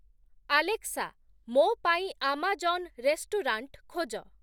Alexa, ମୋ ପାଇଁ Amazon restaurant ଖୋଜ